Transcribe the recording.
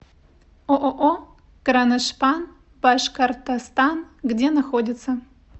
ооо кроношпан башкортостан где находится